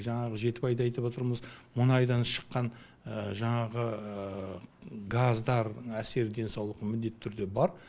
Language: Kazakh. жаңағы жетібайды айтып отырмыз мұнайдан шыққан жаңағы газдар әсері денсаулыққа міндетті түрде бар